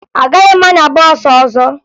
Agaghị m anya bọọsụ ọzọ